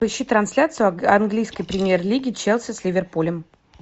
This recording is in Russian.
ищи трансляцию английской премьер лиги челси с ливерпулем